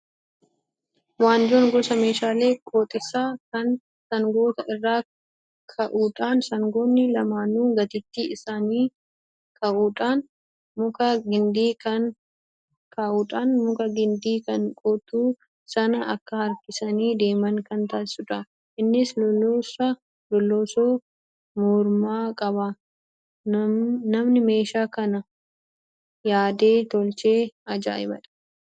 Waanjoon gosa meeshaalee qotiisaa kan sangoota irra kaa'uudhaan sangoonni lamaanuu gateettii isaaniikaa'uudhaan muka gindii kan qotu sana akka harkisanii deeman kan taasisudha. Innis loloosoo mormaa qaba. Namni meeshaa kana yaadee tolche ajaayibadha